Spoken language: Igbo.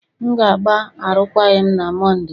M ga-agba arụkwaghịm na Mọnde.